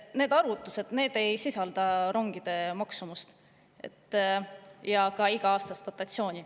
Need arvutused ei sisalda rongide maksumust ega iga-aastast dotatsiooni.